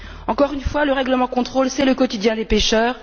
Encore une fois, le règlement de contrôle, c'est le quotidien des pêcheurs.